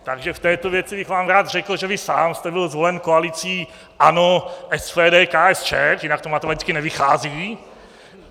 Takže v této věci bych vám rád řekl , že vy sám jste byl zvolen koalicí ANO, SPD, KSČ, jinak to matematicky nevychází.